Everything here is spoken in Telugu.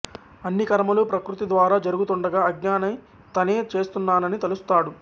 అన్ని కర్మలూ ప్రకృతి ద్వారా జరుగుతుండగా అజ్ఞాని తనే చేస్తున్నానని తలుస్తాడు